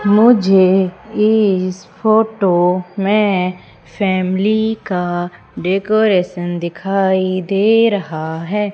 मुझे इस फोटो में फैमिली का डेकोरेशन दिखाई दे रहा है।